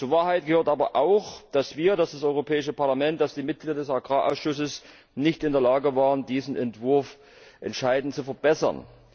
Zur Wahrheit gehört aber auch, dass wir als Europäisches Parlament, dass die Mitglieder des Agrarausschusses nicht in der Lage waren, diesen Entwurf entscheidend zu verbessern.